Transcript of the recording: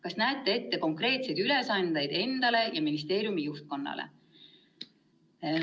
Kas näete ette konkreetseid ülesandeid endale ja ministeeriumi juhtkonnale?